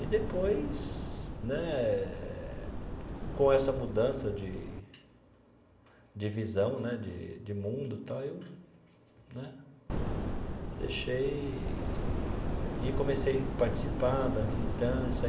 E depois né, com essa mudança de de visão né, de de mundo tal, aí eu né deixei eee e comecei a participar da militância.